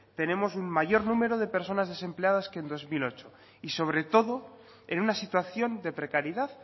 tenemos un mayor número de personas desempleadas que en dos mil ocho y sobre todo en una situación de precariedad